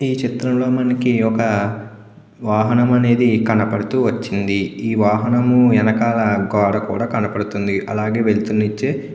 ఈ చిత్రం లో మనకు ఒక వాహనం అనేది కనబడుతూ వచ్చింది ఈ వాహనం వెనకాల గోడ కూడా కనబడుతుంది అలాగే వెల్తురు నిచ్చే.